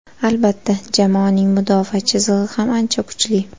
Albatta, jamoaning mudofaa chizig‘i ham ancha kuchli.